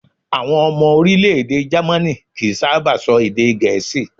Àwọn ọmọ orílẹ̀-èdè Jamaní kìí sábà sọ èdè Gẹ̀ẹ́sì